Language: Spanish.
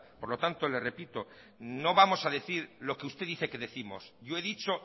por lo tanto le repito no vamos a decir lo que usted dice que décimos yo he dicho